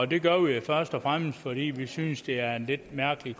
det gør vi først og fremmest fordi vi synes det er en lidt mærkelig